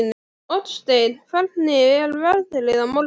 Oddsteinn, hvernig er veðrið á morgun?